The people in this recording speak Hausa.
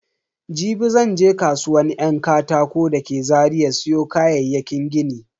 Jibi zan je kasuwan yan katako da ke Zaria siyo kayayyakin gini.